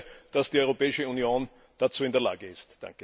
Ich hoffe, dass die Europäische Union dazu in der Lage ist.